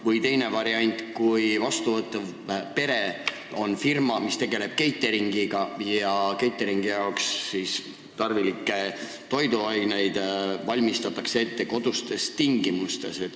Või teine variant: vastuvõtval perel on firma, mis tegeleb catering'iga, ja catering'i jaoks tarvilikke roogi valmistatakse ette kodustes tingimustes.